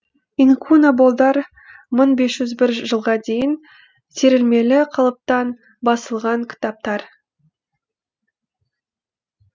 инкунаболдар мың бес жүз бір жылға дейін терілмелі қалыптан басылған кітаптар